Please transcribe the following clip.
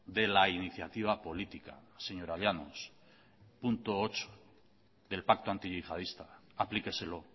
de la iniciativa política señora llanos punto ocho del pacto antiyihadista aplíqueselo